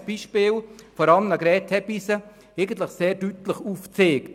Das Beispiel von Annegret Hebeisen hat den Verlauf sehr deutlich aufgezeigt.